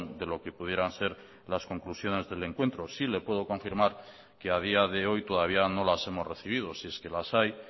de lo que pudieran ser las conclusiones del encuentro sí le puedo confirmar que a día de hoy todavía no las hemos recibido si es que las hay